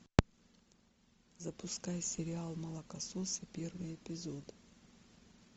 запускай сериал молокососы первый эпизод